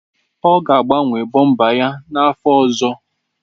Ọ ga-agbanwe bọmba ya n'afọ ọzọ.